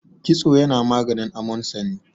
kitso yana maganin amonsani